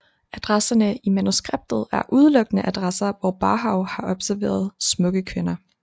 Adresserne i manuskriptet er udelukkende adresser hvor Barhow har observeret smukke kvinder